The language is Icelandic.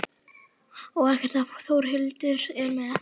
Og ekkert ef Þórhildur er með.